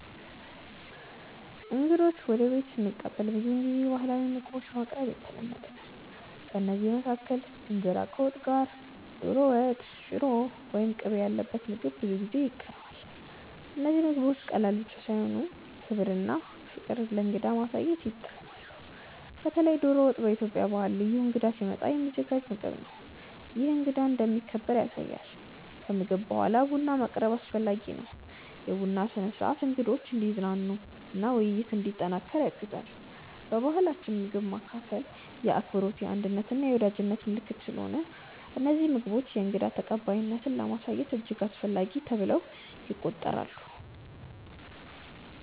እንግዶችን ወደ ቤት ስቀበል ብዙውን ጊዜ ባህላዊ ምግቦችን ማቅረብ የተለመደ ነው። ከእነዚህ መካከል እንጀራ ከወጥ ጋር፣ ዶሮ ወጥ፣ ሽሮ ወይም ቅቤ ያለበት ምግብ ብዙ ጊዜ ይቀርባል። እነዚህ ምግቦች ቀላል ብቻ ሳይሆኑ ክብርና ፍቅር ለእንግዳ ለማሳየት ይጠቅማሉ። በተለይ ዶሮ ወጥ በኢትዮጵያ ባህል ልዩ እንግዳ ሲመጣ የሚዘጋጅ ምግብ ነው፤ ይህም እንግዳው እንደሚከበር ያሳያል። ከምግብ በኋላ ቡና ማቅረብም አስፈላጊ ነው። የቡና ስነ-ሥርዓት እንግዶችን እንዲዝናኑ እና ውይይት እንዲጠናከር ያግዛል። በባህላችን ምግብ ማካፈል የአክብሮት፣ የአንድነት እና የወዳጅነት ምልክት ስለሆነ እነዚህ ምግቦች የእንግዳ ተቀባይነትን ለማሳየት እጅግ አስፈላጊ ተብለው ይቆጠራሉ